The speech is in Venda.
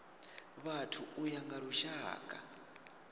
vhathu u ya nga lushaka